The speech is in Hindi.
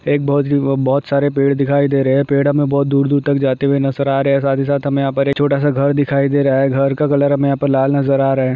एक बहुत ही बहुत सारे पेड़ दिखाई दे रही है। पेड़ हमें बहुत दूर दूर तक जाते हुए नजर आ रहे हैं। साथ ही साथ हम यहाँ पर एक छोटा सा घर दिखाई दे रहा है। घर का कलर हम यहाँ पर लाल नजर आ रहा है।